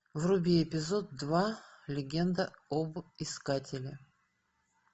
вруби эпизод два легенда об искателе